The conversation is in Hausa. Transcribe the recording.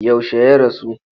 Yaushe ya rasu?